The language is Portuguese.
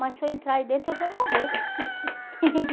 Mas se eu entrar aí dentro, eu vou morrer.